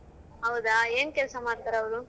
ಹೌದಾ, ಏನ್ ಕೆಲ್ಸ ಮಾಡ್ತಾರವ್ರು?